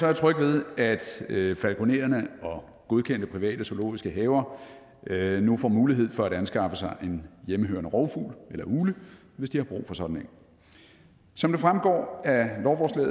jeg tryg ved at falkonererne og godkendte private zoologiske haver nu får mulighed for at anskaffe sig en hjemmehørende rovfugl eller ugle hvis de har brug for sådan en som det fremgår